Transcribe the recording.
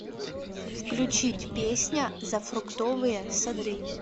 включить песня за фруктовые сады